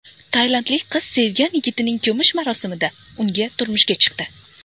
Tailandlik qiz sevgan yigitining ko‘mish marosimida unga turmushga chiqdi.